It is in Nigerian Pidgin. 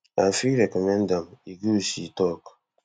i fit recommend am e good she tok